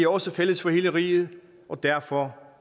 også fælles for hele riget og derfor